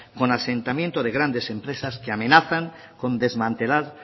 con asentamientos de grandes empresas que amenazan con desmantelar